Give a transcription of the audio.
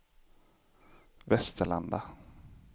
Västerlanda